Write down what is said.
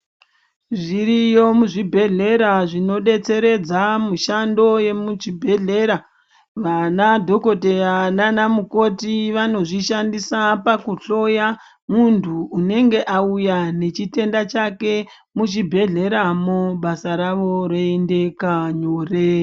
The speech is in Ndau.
Zviriyo muzvibhedhlera zvinodetseredza mushando yemuchibhedhlera , vana dhokodheya nana mukoti vanozvishandisa pakuhloya muntu unenge auya nechitenda chake muchibhebhedhleramo basa ravo roendeka nyore.